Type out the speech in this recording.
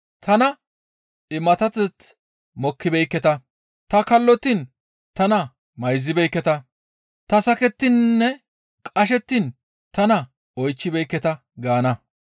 tana imaththateth mokkibeekketa; ta kallottiin tana mayzibeekketa; ta sakettininne qashettiin tana oychchibeekketa› gaana.